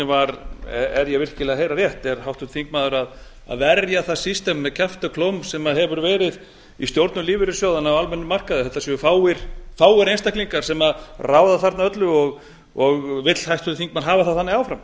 ég er virkilega að heyra rétt er háttvirtur þingmaður að verja það system með kjafti og klóm sem hefur verið í stjórnum lífeyrissjóðanna á almennum markaði þetta séu fáir einstaklingar sem ráða þarna öllu og vill háttvirtur þingmaður hafa það þannig áfram